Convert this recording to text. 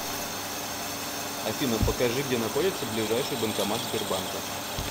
афина покажи где находится ближайший банкомат сбербанка